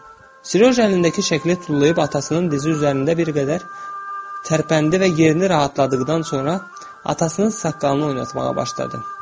Sirojan əlindəki şəkli tullayıb atasının dizi üzərində bir qədər tərpəndi və yerini rahatladıqdan sonra atasının saqqalını oynatmağa başladı.